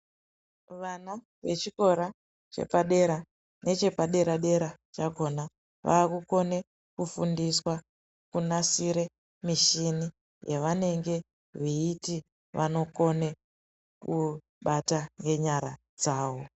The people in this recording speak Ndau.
Vana vechikora chepadera nechepadera dera chakona vakukone kufundiswa kunasire mishini yavanenge veiti vanokone kubata ngenyara dzawo